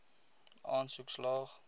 aansoek slaag